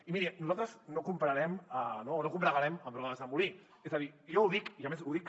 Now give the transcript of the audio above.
i miri nosaltres no combregarem amb rodes de molí és a dir jo ho dic i a més ho dic